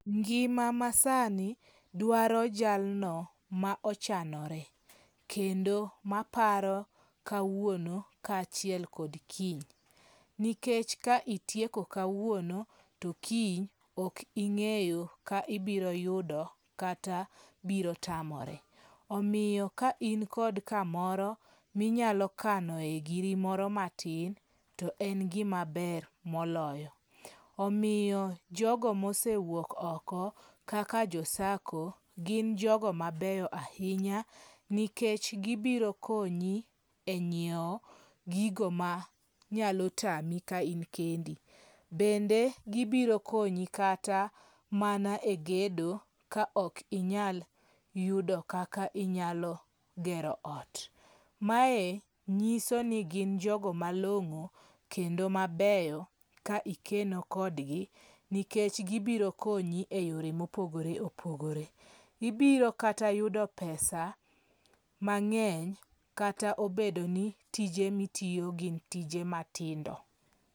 Ngima ma sani dwaro jalno ma ochanore. Kendo maparo kawuono ka achiel kod kiny. Nikech ka itieko kawuono to kiny ok ing'eyo ka ibiro yudo kata biro tamore. Omiyo ka in kod kamoro minyalo kanoe giri moro matin to en gima ber moloyo. Omiyo jogo mosewuok oko kaka jo SACCO gin jogo mabeyo ahinya nikech gibiro konyi e nyiew gigo ma nyalo tami ka in kendi. Bende gibiro konyi kata mana e gedo ka ok inyaal yudo kaka inyalo gero ot. Mae nyiso ni gin jogo malong'o kendo mabeyo ka ikeno kodgi nikech gibiro konyi e yore mopogore opogore. Ibiro kata yudo pesa mang'eny kata obedo ni tije mitiyo gin tije matindo.